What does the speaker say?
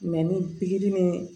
ni pikiri ni